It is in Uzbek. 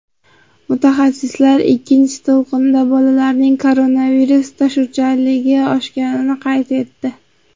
Mutaxassislar ikkinchi to‘lqinda bolalarning koronavirus tashuvchanligi oshganini qayd etdi.